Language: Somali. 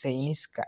sayniska.